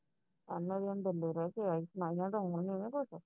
bombay ਰਹਿ ਕੇ ਆਈ ਮੈਂ ਕਿਹਾ